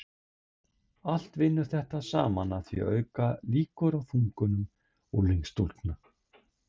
Allt vinnur þetta saman að því að auka líkur á þungunum unglingsstúlkna.